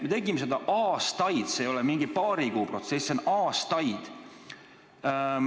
Me tegime seda aastaid, see ei ole mingi paari kuu protsess, see kestab aastaid.